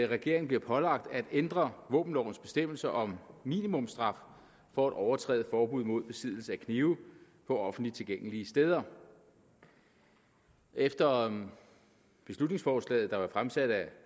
regeringen bliver pålagt at ændre våbenlovens bestemmelser om minimumsstraf for at overtræde forbuddet mod besiddelse af knive på offentligt tilgængelige steder efter beslutningsforslaget der er fremsat af